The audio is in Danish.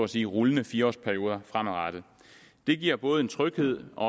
sige rullende fire års perioder fremadrettet det giver både en tryghed og